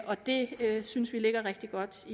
og det synes vi ligger rigtig godt